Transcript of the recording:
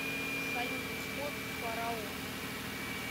салют исход фараон